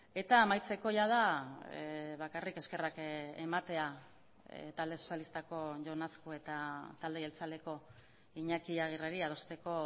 eta amaitzeko jada bakarrik eskerrak ematea talde sozialistako jon azkue eta talde jeltzaleko iñaki aguirreri adosteko